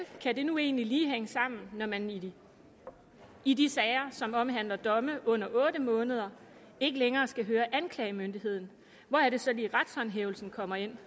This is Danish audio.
kan det nu egentlig hænge sammen når man i de i de sager som omhandler domme under otte måneder ikke længere skal høre anklagemyndigheden hvor er det så lige retshåndhævelsen kommer ind